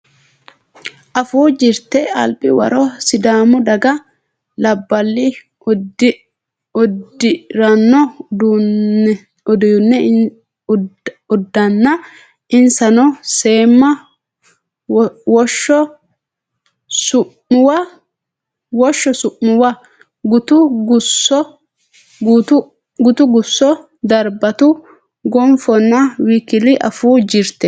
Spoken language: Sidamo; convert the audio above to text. Afuu Jirte Albi waro Sidaamu daga labballi uddi ranno uddanna Insano seemma Woshsho Su muwa Gutu gusso darbatu gonfunna w k l Afuu Jirte.